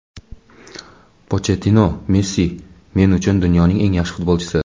Pochettino: Messi men uchun dunyoning eng yaxshi futbolchisi.